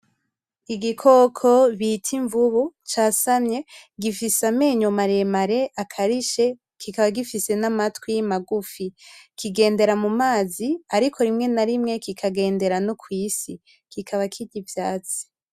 Igikoko bita imvubu casamye gifise amenyo maremare akarishe kikaba gifise n'amatwi magufi, kigendera mu mazi ariko rimwe na rimwe kikagendera no kw'isi, kikaba kirya ivyatsi.